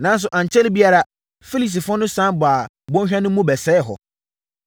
Nanso, ankyɛre biara, Filistifoɔ no sane baa bɔnhwa no mu bɛsɛee hɔ.